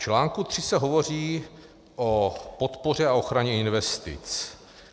V článku 3 se hovoří o podpoře a ochraně investic.